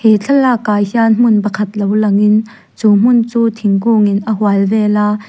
he thlalak ah hian hmun pakhat lo langin chu hmun chu thingkungin a hual vel a.